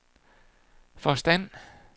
forstand